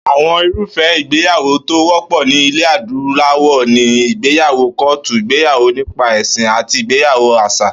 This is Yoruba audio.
Àwo̩n irúfé̩ ìgbéyàwó̩ tó wó̩pò̩ ní ilè̩ adúláwò̩ ni ìgbéyàwó kó̩ò̩tù, ìgbéyàwó nípa è̩sìn àti ìgbéyàwó às̩à